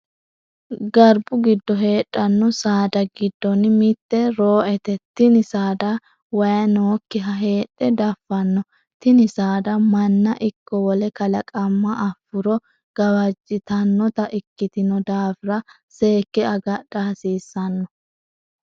Garbu gido heedhano saada gidonni mite roo'ete. Tinni saada wayi nookiha heedhe dafano. Tinni saada manna iko wole kalaqamma afuro gawajitanota ikitino daafira seeke agadha hasiissano.